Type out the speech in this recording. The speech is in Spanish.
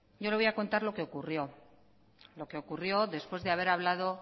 yo le voy a contar lo que ocurrió lo que ocurrió después de haber hablado